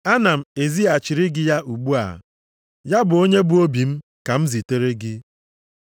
Ana m ezighachiri gị ya ugbu a, ya bụ, onye bụ obi + 1:12 Maọbụ, onye m weere ka onwe m m ka m na-ezitere gị.